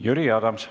Jüri Adams.